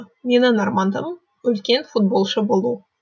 менің арманым үлкен футболшы болу